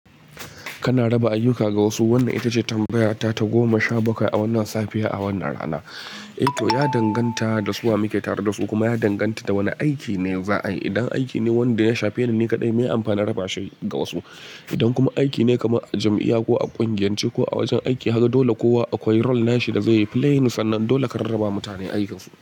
Kana raba ayyuka ga wasu. Wannan ita ce tambayata ta goma sha bakwai a wannan safiya, a wannan rana. Eh to ya danganta da su wa muke tare da su kuma ya danganta da wane aiki ne za a yi. Idan aiki ne wanda ya shafe ni ni kadai mai amfanin raba shi ga wasu. Idan kuma aiki ne kamar a jam'iya ko a ƙungiyance ko a wajen aiki, haka dole kowa akwai role nashi da zai yi play. Sannan nan dole ka rarraba wa mutane ayyukansu.